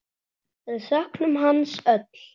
Við söknum hans öll.